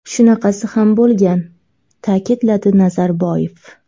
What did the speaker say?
Shunaqasi ham bo‘lgan”, ta’kidladi Nazarboyev.